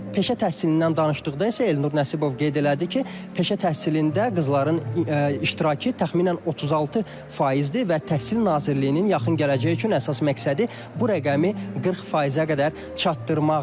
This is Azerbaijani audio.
Peşə təhsilindən danışdıqda isə Elnur Nəsibov qeyd elədi ki, peşə təhsilində qızların iştirakı təxminən 36 faizdir və Təhsil Nazirliyinin yaxın gələcək üçün əsas məqsədi bu rəqəmi 40 faizə qədər çatdırmaqdır.